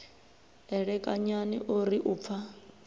elekanyani o ri u pfa